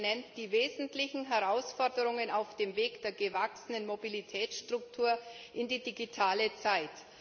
Er benennt die wesentlichen Herausforderungen auf dem Weg der gewachsenen Mobilitätsstruktur in die digitale Zeit.